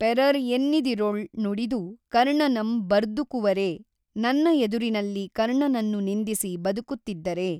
ಪೆಱರ್ ಎನ್ನಿದಿರೊಳ್ ನುಡಿದು ಕರ್ಣನಂ ಬರ್ದುಕುವರೇ ನನ್ನ ಎದುರಿನಲ್ಲಿ ಕರ್ಣನನ್ನು ನಿಂದಿಸಿ ಬದುಕುತ್ತಿದ್ದರೆ?